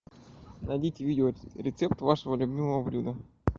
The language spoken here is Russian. найдите видеорецепт вашего любимого блюда